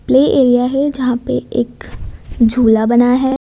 Play area है जहां पे एक झूला बना है।